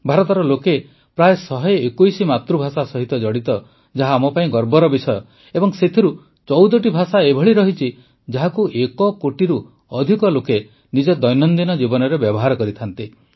ଭାରତର ଲୋକେ ପ୍ରାୟ ୧୨୧ ମାତୃଭାଷା ସହିତ ଜଡ଼ିତ ଯାହା ଆମପାଇଁ ଗର୍ବର ବିଷୟ ଏବଂ ସେଥିରୁ ୧୪ଟି ଭାଷା ଏଭଳି ରହିଛି ଯାହାକୁ ଏକ କୋଟିରୁ ଅଧିକ ଲୋକ ନିଜ ଦୈନନ୍ଦିନ ଜୀବନରେ ବ୍ୟବହାର କରନ୍ତି